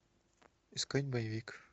искать боевик